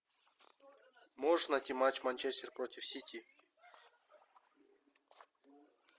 можешь найти матч манчестер против сити